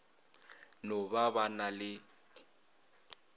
no ba ba na le